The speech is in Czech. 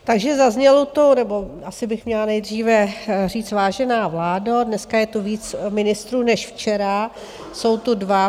Takže zaznělo tu - nebo asi bych měla nejdříve říct, vážená vládo, dneska je tu víc ministrů než včera, jsou tu dva.